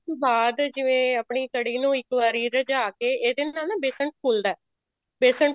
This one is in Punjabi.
ਉਸ ਤੋਂ ਬਾਅਦ ਜਿਵੇਂ ਆਪਣੀ ਕੜ੍ਹੀ ਨੂੰ ਇੱਕ ਵਾਰ ਰ੍ਝਾ ਕੇ ਇਹਦੇ ਨਾਲ ਨਾ ਬੇਸਨ ਫੁੱਲਦਾ ਬੇਸਨ